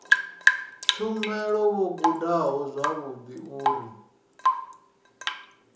tshumelo vho gudaho zwavhudi uri